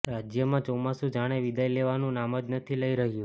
રાજ્યમાં ચોમાસું જાણે વિદાય લેવાનું નામ જ નથી લઈ રહ્યું